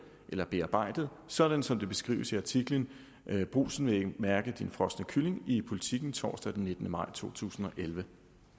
eller bearbejdet sådan som det beskrives i artiklen brugsen vil ikke mærke din frosne kylling i politiken torsdag den nittende maj 2011